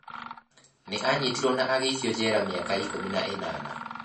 Nĩ aanyitirũo na agĩikio njera mĩaka ikũmi na ĩnana.